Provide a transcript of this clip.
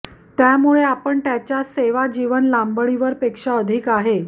त्यामुळे आपण त्याच्या सेवा जीवन लांबणीवर पेक्षा अधिक आहे